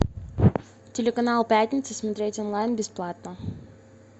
телеканал пятница смотреть онлайн бесплатно